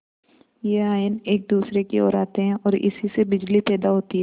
यह आयन एक दूसरे की ओर आते हैं ओर इसी से बिजली पैदा होती है